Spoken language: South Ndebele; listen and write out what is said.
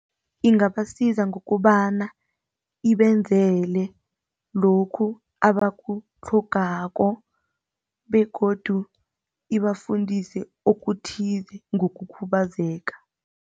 Ingabasiza ngokobana ibenzele lokhu abakutlhogako begodu ibafundise okuthize ngokukhubazeka.